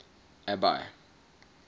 abby